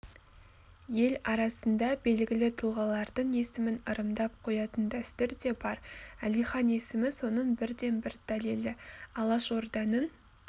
ел арасында белгілі тұлғалардың есімін ырымдап қоятын дәстүр де бар әлихан есімі соның бірден-бір дәлелі алашорданың